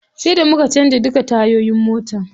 Sai da muka canza duka tayoyin motar.